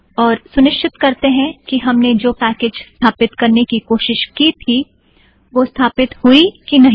और सुनिश्चित करतें हैं कि हमने जो पैकेज़ स्थापित करने की कोशिश की थी वह स्थापित हुए कि नहीं